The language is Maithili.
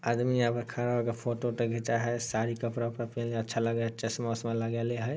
आदमी यहाँ पर खड़ा होकर फोटो उटो घीचा है साड़ी कपड़ा अच्छा लगेय हेय चश्मा उशमा लगैले हेय|